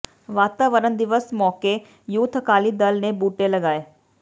ਵਾਤਾਵਰਣ ਦਿਵਸ ਮੌਕੇ ਯੂਥ ਅਕਾਲੀ ਦਲ ਨੇ ਬੂਟੇ ਲਗਾਏ